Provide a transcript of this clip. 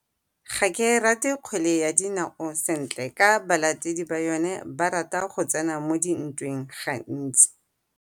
Ga ke rate kgwele ya dinao sentle ka balatedi ba yone ba rata go tsena mo dintweng gantsi.